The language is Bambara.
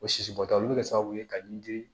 O sisibɔtaw bi kɛ sababu ye ka min di